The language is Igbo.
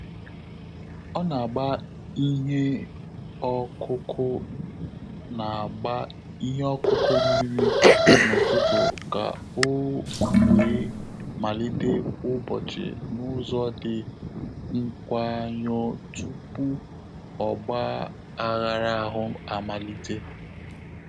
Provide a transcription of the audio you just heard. Ọ́ nà-àgbá ìhè ọ́kụ́kụ́ nà-àgbá ìhè ọ́kụ́kụ́ mmìrí n’ụ́tụ́tụ̀ kà ọ́ wèé màlíté ụ́bọ́chị̀ n’ụ́zọ́ dị́ nkwáyọ̀ọ́ túpù ọ́gbà ághára áhụ́ àmàlị̀tè.